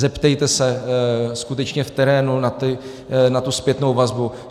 Zeptejte se skutečně v terénu na tu zpětnou vazbu.